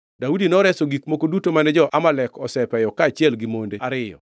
Daudi noreso gik moko duto mane jo-Amalek osepeyo kaachiel gi monde ariyo.